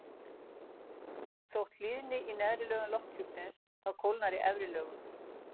þótt hlýni í neðri lögum lofthjúpsins þá kólnar í efri lögunum